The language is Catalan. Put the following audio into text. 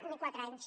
ni quatre anys